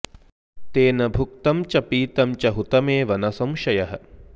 तेन भुक्तं च पीतं च हुतमेव न संशयः